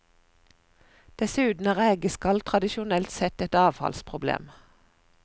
Dessuten er rekeskall tradisjonelt sett et avfallsproblem.